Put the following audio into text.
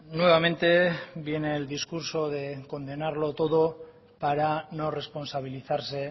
nuevamente viene el discurso de condenarlo todo para no responsabilizarse